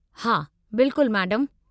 हा बिल्कुल, मैडमु।